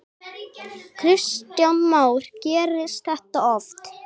Kristján Már: Gerist þetta oft?